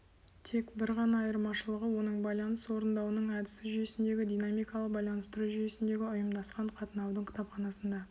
тек бір ғана айырмашылығы оның байланыс орындауының әдісі жүйесіндегі динамикалық байланыстыру жүйесіндегі ұйымдасқан қатынаудың кітапханасында